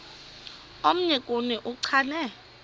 omnye kuni uchane